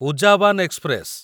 ଉଜାବାନ express